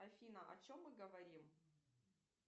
афина о чем мы говорим